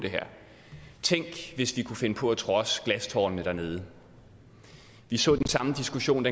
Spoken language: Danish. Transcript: tænk hvis vi kunne finde på at trodse glastårnene dernede vi så den samme diskussion